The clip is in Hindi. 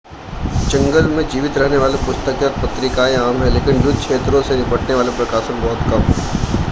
जंगल में जीवित रहने वाली पुस्तकें और पत्रिकाएं आम हैं लेकिन युद्ध क्षेत्रों से निपटने वाले प्रकाशन बहुत कम हैं